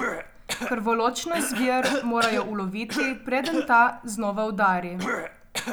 Krvoločno zver morajo uloviti, preden ta znova udari.